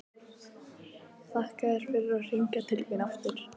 Þakka þér fyrir að hringja til mín aftur.